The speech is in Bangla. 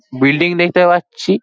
বিল্ডিং দেখতে পাচ্ছি ।